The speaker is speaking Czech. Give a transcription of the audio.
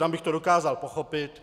Tam bych to dokázal pochopit.